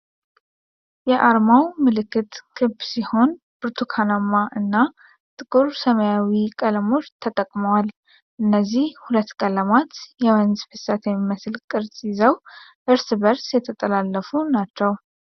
የአርማው ምልክት ክብ ሲሆን ብርቱካናማእና ጥቁር ሰማያዊቀለሞች ተጠቅመዋል። እነዚህ ሁለት ቀለማት የወንዝ ፍሰት የሚመስል ቅርጽ ይዘው እርስ በርስ የተጠላለፉ ናቸው።